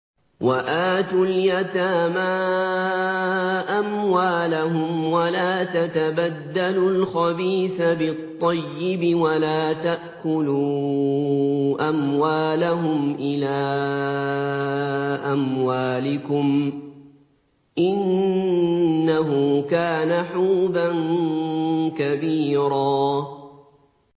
وَآتُوا الْيَتَامَىٰ أَمْوَالَهُمْ ۖ وَلَا تَتَبَدَّلُوا الْخَبِيثَ بِالطَّيِّبِ ۖ وَلَا تَأْكُلُوا أَمْوَالَهُمْ إِلَىٰ أَمْوَالِكُمْ ۚ إِنَّهُ كَانَ حُوبًا كَبِيرًا